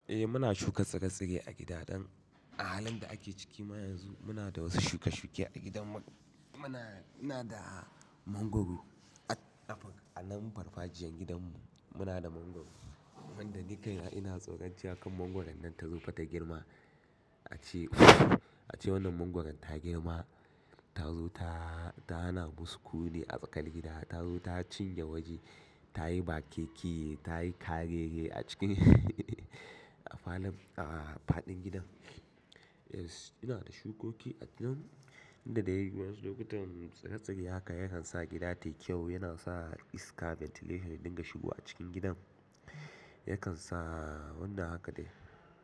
Eh muna shuka tsire-tsire a gida dan. A halin da ake ciki ma yanzu muna da wasu shuke-shuke a gidan mu. Muna, muna da mangwaro. A nan farfajiyan gidan mu muna da mangwaro, wanda ni kai na ina tsoron cewa kar mangwaron nan ta zo fa ta girma. A ce, a ce wannan mangwaron ta girma, ta zo ta, ta hana mu sukuni a tsakar gida, ta zo ta cinye waje, ta yi bakeke, ta yi karere a cikin, a falon, a faɗin gidan mu. Yes ina da shukoki a nan inda dai waƴansu lokutan tsire-tsire haka yakan sa gida tai kyau, yana sa iska ventilation ya dinga shigowa a cikin gidan, yakan sa wannan haka dai.